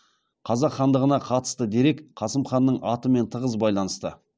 қазақ хандығына қатысты дерек қасым ханның атымен тығыз байланысты